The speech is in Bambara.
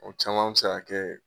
O caman mi se ka kɛ